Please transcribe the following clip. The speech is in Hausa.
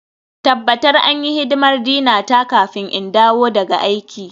Tabbatar an yi hidimar Dina ta kafin in dawo daga aiki.